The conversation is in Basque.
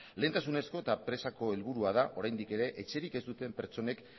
lehentasunezko eta presako helburua da oraindik ere etxerik ez duten pertsonek